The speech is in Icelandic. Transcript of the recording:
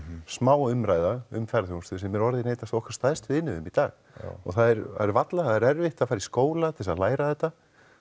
smá umræða um ferðaþjónustu sem er orðin ein af okkar stærstu innviðum í dag og það er varla það er erfitt að fara í skóla til að læra þetta